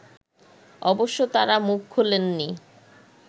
অবশ্য তারা মুখ খোলেননি